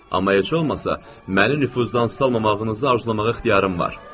Amma heç olmasa məni nüfuzdan salmamağınızı arzulamağa ixtiyarım var.